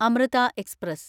Amrita express